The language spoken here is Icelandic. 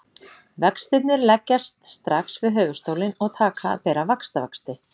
Vextirnir leggjast strax við höfuðstólinn og taka að bera vaxtavexti.